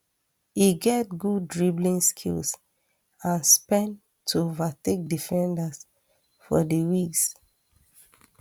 e get good dribbling skills and speed to overtake defenders for di wings